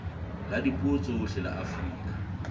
la dipuo tsohle la afrika